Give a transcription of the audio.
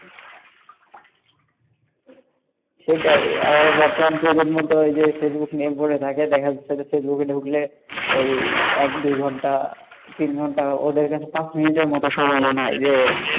সেটাই বর্তমান যুগের ফেসবুক নিয়ে পড়ে থাকে, দেখা যাচ্ছে ফেসবুকে ঢুকলে ওই এক দু ঘন্টা তিন ঘন্টা ওদের কাছে পাঁচ মিনিটের মত সময় মনে হয়,